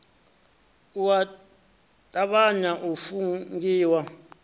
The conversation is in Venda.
u a tavhanya u fungiwa